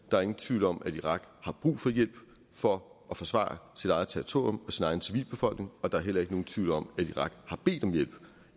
der er ingen tvivl om at irak har brug for hjælp for at forsvare sit eget territorium og sin egen civilbefolkning og der er heller ikke nogen tvivl om at irak har bedt om hjælp